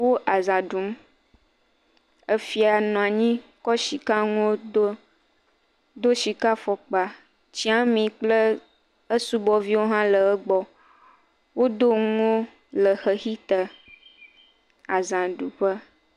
Wo aza ɖum, efia nɔ anyi kɔ sika nuwo do, do sika fɔkpa, tsiami kple esubɔviwo hã le egbɔ, wodo nuwo le xexi te. Azaɖuƒe.